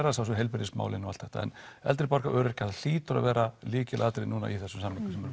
að sjálfsögðu heilbrigðismálin og allt þetta eldri borgarar og öryrkjar það hlýtur að vera lykilatriði núna í þessum samningum sem